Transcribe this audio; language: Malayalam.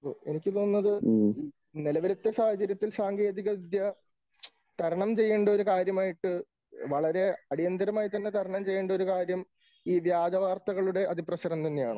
എനിക്ക് തോന്നുന്നത് നിലവിലത്തെ സാഹചര്യത്തിൽ സാങ്കേതികവിദ്യ തരണം ചെയ്യേണ്ട ഒരു കാര്യമായിട്ട് വളരെ അടിയന്തിരമായി തന്നെ തരണം ചെയ്യേണ്ട ഒരു കാര്യം ഈ വ്യാജ വാർത്തകളുടെ അതിപ്രസരം തന്നെയാണ്.